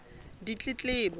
ditletlebo